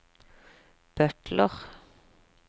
butler